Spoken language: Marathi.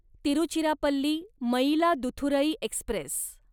तिरुचिरापल्ली मयिलादुथुरई एक्स्प्रेस